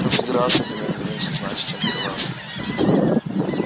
конфедерация для меня не меньше значит чем для вас